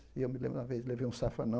E eu me lembro de uma vez levei um safanão,